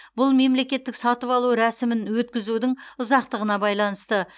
бұл мемлекеттік сатып алу рәсімін өткізудің ұзақтығына байланысты